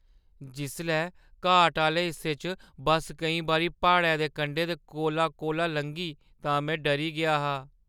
जिसलै घाट आह्‌ले हिस्से च बस केईं बारी प्हाड़ै दे कंढे दे कोला-कोला लंघी तां में डरी गेआ हा।